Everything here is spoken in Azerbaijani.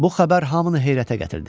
Bu xəbər hamını heyrətə gətirdi.